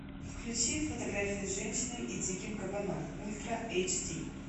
включи фотография с женщиной и диким кабаном ультра эйч ди